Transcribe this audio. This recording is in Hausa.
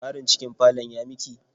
Tsarin cikin falon ya miki?